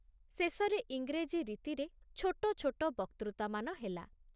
ଶେଷରେ ଇଂରେଜୀ ରୀତିରେ ଛୋଟ ଛୋଟ ବକ୍ତୃତାମାନ ହେଲା ।